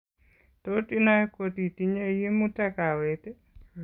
Tot inai kotitinye yimutak kaweet